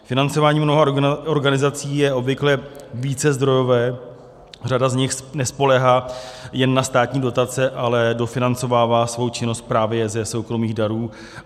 Financování mnoha organizací je obvykle vícezdrojové, řada z nich nespoléhá jen na státní dotace, ale dofinancovává svou činnost právě ze soukromých darů.